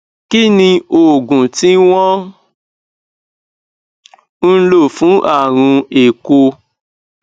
kí ni oògùn tí wọn ń lò fún àrùn éeko